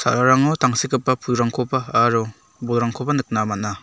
sararango tangsekgipa pulrangkoba aro bolrangkoba nikna man·a.